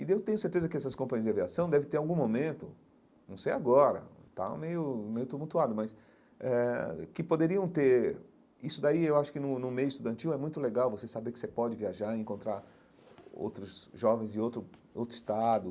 E daí eu tenho certeza que essas companhias de aviação devem ter algum momento, não sei agora, está meio meio tumultuado, mas eh que poderiam ter... Isso daí eu acho que no no meio estudantil é muito legal você saber que você pode viajar e encontrar outros jovens de outro outro estado,